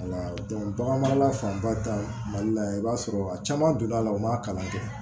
wala bagan mara fanba ta mali la yan i b'a sɔrɔ a caman donna a la u ma kalan kɛ